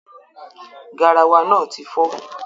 Garawa náà ti fọ́.